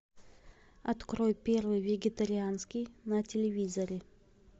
открой первый вегетарианский на телевизоре